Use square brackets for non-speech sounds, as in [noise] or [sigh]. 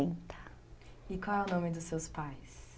[unintelligible] E qual é o nome dos seus pais?